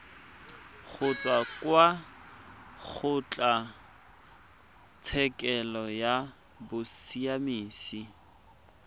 kgotsa kwa kgotlatshekelo ya bosiamisi